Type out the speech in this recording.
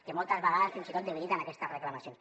que moltes vegades fins i tot debiliten aquestes reclamacions